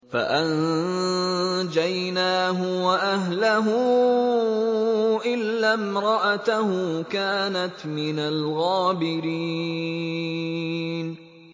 فَأَنجَيْنَاهُ وَأَهْلَهُ إِلَّا امْرَأَتَهُ كَانَتْ مِنَ الْغَابِرِينَ